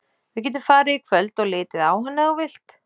Við getum farið í kvöld og litið á hann ef þú vilt.